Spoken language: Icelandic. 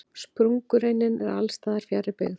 Sprungureinin er alls staðar fjarri byggð.